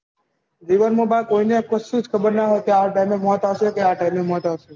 જીવન માં કોઈ ને કસુક ખબર ના હોય આ time એ મૌત આવશે કે આ type ની મૌત આવશે